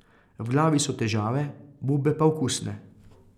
V glavi so težave, bube pa okusne.